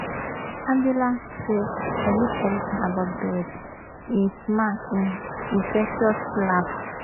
angela say i miss evritin about brett im smile im infectious laugh